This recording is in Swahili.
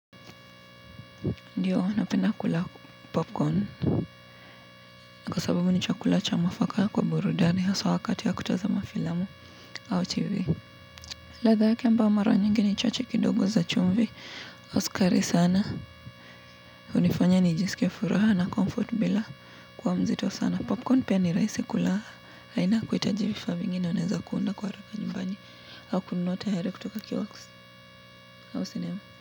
Ndio napenda kula popcorn kwa sababu ni chakula cha mwafaka kwa burudani haswa wakati ya kutazama filamu au tv. Ladha yake ambayo mara nyingi ni chache kidogo za chumvi au sukari sana. Hunifanya ni jisikie furaha na comfort bila kuwa mzito sana. Popcorn pia ni raisi kula. Haina kuhitaji vifaa vingi unaweza kuunda kwa haraka nyumbani. Au kununua tayari kutoka kioks au cinema.